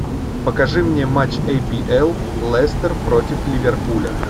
покажи мне матч апл лестер против ливерпуля